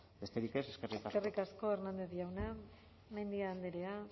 besterik ez eskerrik asko eskerrik asko hernández jauna mendia andrea